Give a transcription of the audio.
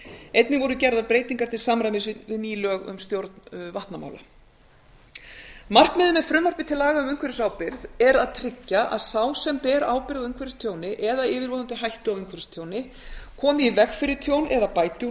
einnig voru gerðar breytingar til samræmis við ný lög um stjórn vatnamála markmiðið með frumvarpi til laga um umhverfisábyrgð er að tryggja að sá sem ber ábyrgð á umhverfistjóni eða yfirvofandi hættu á umhverfistjóni komi í veg fyrir tjón eða bæti úr